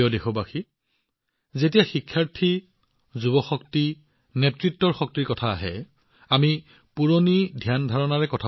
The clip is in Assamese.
মোৰ মৰমৰ দেশবাসীসকল যেতিয়া শিক্ষাৰ্থী যুৱ শক্তি নেতৃত্বৰ শক্তিৰ কথা আহে তেতিয়া আমাৰ মনত বহুতো পুৰণি ধাৰণা সোমাই পৰে